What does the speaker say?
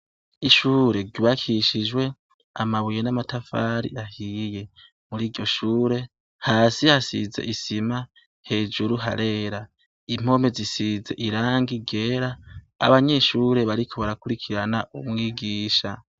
Ishure ryubakishijwe amabuye n'amatafari ahiye. Muri iryo shure, hasi hasize isima, hejuru harera. Impome zisize irangi ryera, abanyeshure bariko barakurikirana umwigisha.